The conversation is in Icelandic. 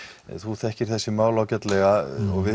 þú þekkir þessi mál ágætlega og við